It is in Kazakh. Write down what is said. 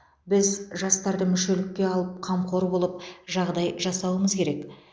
біз жастарды мүшелікке алып қамқор болып жағдай жасауымыз керек